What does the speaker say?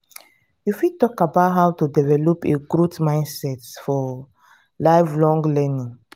you fit talk about how to develop a growth mindset for lifelong learning.